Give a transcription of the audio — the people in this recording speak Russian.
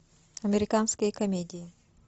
американские комедии